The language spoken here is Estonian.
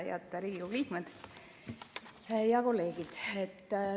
Head Riigikogu liikmed ja kolleegid!